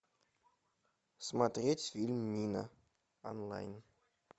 смотреть фильм мина онлайн